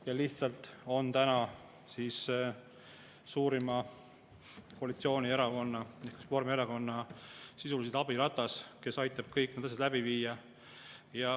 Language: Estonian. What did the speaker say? – ja Eesti 200 on praegu lihtsalt suurima koalitsioonierakonna, Reformierakonna abiratas, kes aitab kõik need asjad läbi viia.